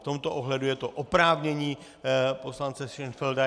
V tomto ohledu je to oprávnění poslance Šenfelda.